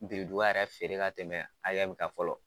Birinduban yɛrɛ feere ka tɛmɛ kan fɔlɔ